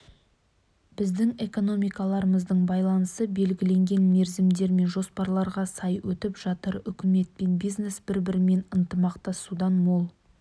біздің экономикаларымыздың байланысы белгіленген мерзімдер мен жоспарларға сай өтіп жатыр үкімет пен бизнес бір-бірімен ынтымақтасудан мол